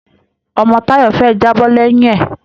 Ọmọ Táyọ̀ fẹ́ jábọ́ lẹ́yìn ẹ̀